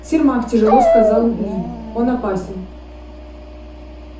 сермак тяжело сказал ли он опасен